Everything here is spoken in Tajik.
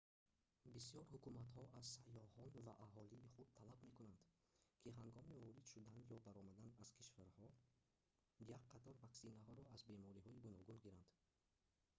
бисёр ҳукуматҳо аз сайёҳон ва аҳолии худ талаб мекунанд ки ҳангоми ворид шудан ё баромадан аз кишвараҳон як қатор ваксинаҳоро аз бемориҳои гуногун гиранд